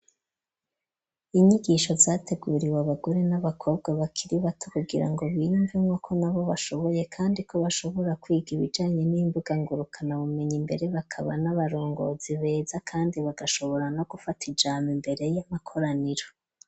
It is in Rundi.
Inyigisho, zateguriwe abagore, n'abakobwa, bakiri bato, kugira ngo biyumemwo, ko na bo bashoboye; kandi ko, bashobora kwiga, ibijanye n'imbuga ngurukanabumenyi, mbere bakaba, n'abarongozi beza, kandi bagashobora, no gufata ijambo, imbere y'amakoraniro.